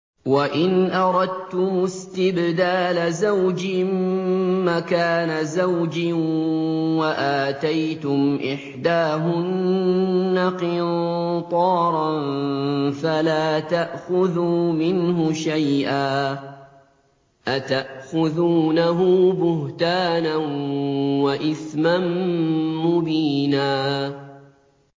وَإِنْ أَرَدتُّمُ اسْتِبْدَالَ زَوْجٍ مَّكَانَ زَوْجٍ وَآتَيْتُمْ إِحْدَاهُنَّ قِنطَارًا فَلَا تَأْخُذُوا مِنْهُ شَيْئًا ۚ أَتَأْخُذُونَهُ بُهْتَانًا وَإِثْمًا مُّبِينًا